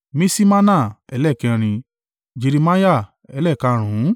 Miṣimana ẹlẹ́ẹ̀kẹrin, Jeremiah ẹlẹ́ẹ̀karùnún